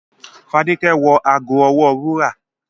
The woman wore a golden bracelet to the party